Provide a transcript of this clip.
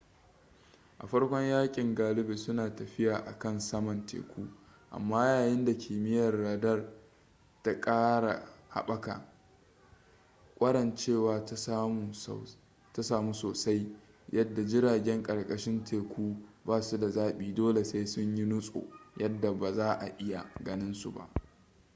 a farkon yakin galibi suna tafiya akan saman teku amma yayin da kimiyyar radar ta kara haɓaka kwarancewa ta samu soasai yadda jiragen karkashin teku basu da zabi dole sai sun yi nutso yadda ba za'a iya ganin su ba